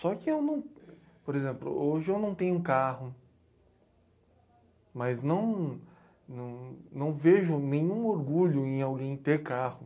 Só que eu não... Por exemplo, hoje eu não tenho carro, mas não não não vejo nenhum orgulho em alguém ter carro.